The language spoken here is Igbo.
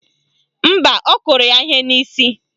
Mba, ọ kụrụ ya ihe n'isi